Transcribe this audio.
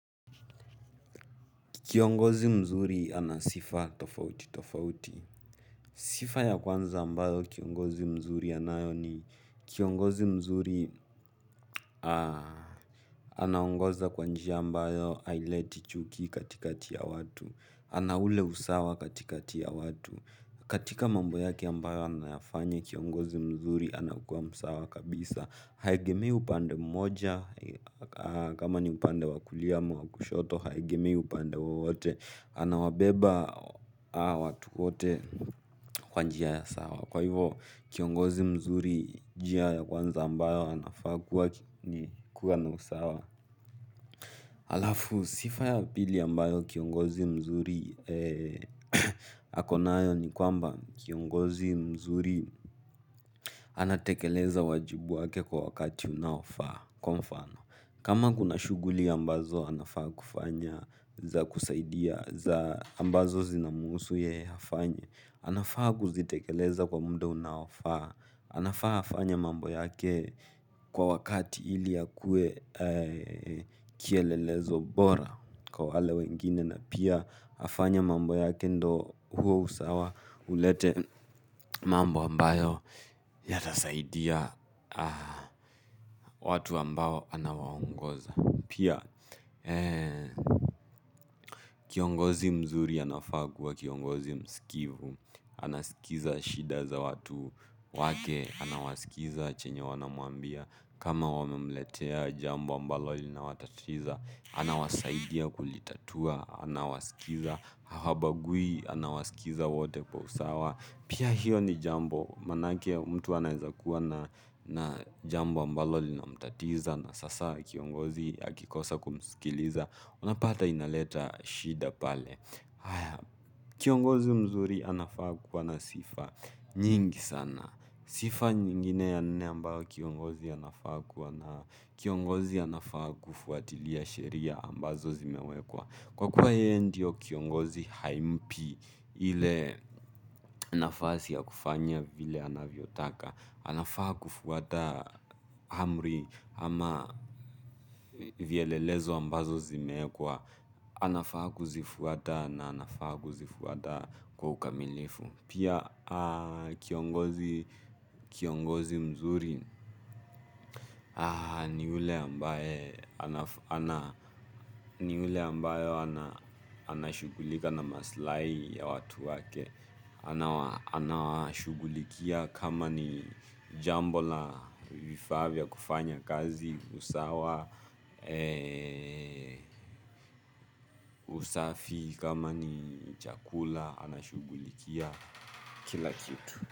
Kiongozi mzuri ana sifa tofauti tofauti. Sifa ya kwanza ambayo kiongozi mzuri anayo ni, kiongozi mzuri anaongoza kwa njia ambayo haileti chuki katikati ya watu. Ana ule usawa katikati ya watu. Katika mambo yake ambayo anayafanya, kiongozi mzuri anakuwa msawa kabisa. Haegemei upande mmoja, kama ni upande wa kulia ama wa kushoto, haegemei upande wowote. Anawabeba watu wote kwa njia ya sawa. Kwa hivyo, kiongozi mzuri njia ya kwanza ambayo anafaa kuwa ni kuwa na usawa. Halafu sifa ya pili ambayo kiongozi mzuri ako nayo ni kwamba kiongozi mzuri anatekeleza wajibu wake kwa wakati unaofaa. Kwa mfano, kama kuna shughuli ambazo anafaa kufanya za kusaidia ambazo zinamhusu yeye afanye, anafaa kuzitekeleza kwa muda unaofaa. Anafaa afanye mambo yake kwa wakati ili akuwe kielelezo bora kwa wale wengine na pia afanye mambo yake ndio huo usawa ulete mambo ambayo yatasaidia watu ambao anawaongoza. Pia, kiongozi mzuri anafaa kuwa kiongozi msikivu. Anasikiliza shida za watu wake, anawasikiliza chenye wanamwambia. Kama wamemletea jambo ambalo linawatatiza, anawasaidia kulitatua. Anawasikiliza, habagui anawasikiliza wote kwa usawa, pia hiyo ni jambo maanake mtu anaweza kuwa na jambo ambalo linamtatiza, na sasa kiongozi akikosa kumsikiliza, unapata inaleta shida pale kiongozi mzuri anafaa kuwa na sifa nyingi sana. Sifa nyingine ya nne ambayo kiongozi anafaa kuwa nayo, kiongozi anafaa kufuatilia sheria ambazo zimewekwa. Kwa kuwa yeye ndio kiongozi, haimpi ile nafasi ya kufanya vile anavyotaka. Anafaa kufuata amri ama vielelezo ambazo zimewekwa anafaa kuzifuata, na anafaa kuzifuata kwa ukamilifu. Pia kiongozi mzuri ni ule ambaye ni ule ambaye anashughulika na maslahi ya watu wake. Anawashughulikia kama ni jambo la vifaa vya kufanya kazi usawa usafi, kama ni chakula, anashughulikia kila kitu.